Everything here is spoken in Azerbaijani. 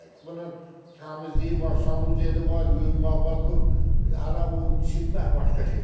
Bunun təmizliyi var, sanuzeli var, yuyunmağı var, bu hələ o çimmək başqa şey.